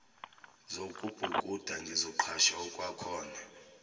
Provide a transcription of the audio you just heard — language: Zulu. zokubhukuda ngizoqhasha okwakhona